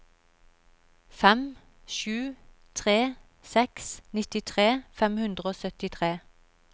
fem sju tre seks nittitre fem hundre og syttitre